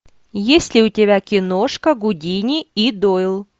есть ли у тебя киношка гудини и дойл